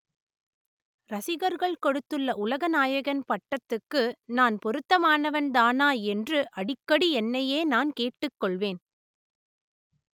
ரசிகர்கள் கொடுத்துள்ள உலக நாயகன் பட்டத்துக்கு நான் பொருத்தமானவன்தானா என்று அடிக்கடி என்னையே நான் கேட்டுக் கொள்வேன்